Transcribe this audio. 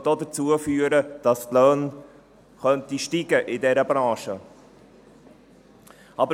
Es könnte auch dazu führen, dass die Löhne in dieser Branche steigen könnten.